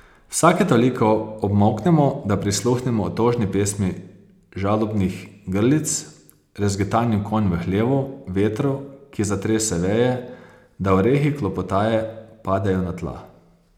Vsake toliko obmolknemo, da prisluhnemo otožni pesmi žalobnih grlic, rezgetanju konj v hlevu, vetru, ki zatrese veje, da orehi klopotaje padejo na tla.